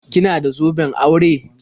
Kina da zoben aure?